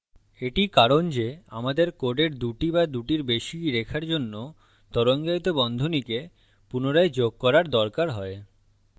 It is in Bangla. এটি কারণ যে আমাদের code দুটি বা দুটির বেশি রেখার জন্য তরঙ্গায়িত বন্ধনীকে পুনরায় যোগ cater দরকার হয়